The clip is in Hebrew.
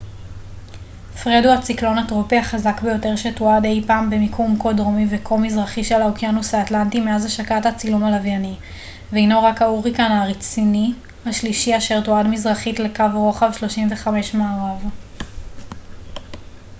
פרד הוא הציקלון הטרופי החזק ביותר שתועד אי פעם במיקום כה דרומי וכה מזרחי של האוקיינוס האטלנטי מאז השקת הצילום הלווייני והנו רק ההוריקן הרציני השלישי אשר תועד מזרחית לקו רוחב 35 מערב